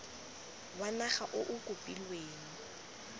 wa naga o o kopilweng